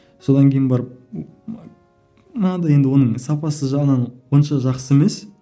содан кейін барып мынадай енді оның сапасы жағынан онша жақсы емес